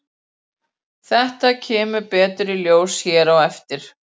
Þetta kemur betur í ljós hér á eftir.